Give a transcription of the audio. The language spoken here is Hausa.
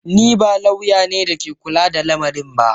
Ni ba lauya ne da ke kula da lamarin ba.